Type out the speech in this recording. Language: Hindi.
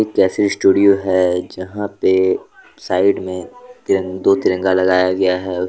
जैसे स्टूडियो है जहां पे साइड में ति दो तिरंगा लगाया गया है।